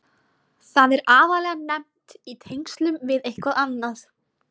Það er aðallega nefnt í tengslum við eitthvað annað.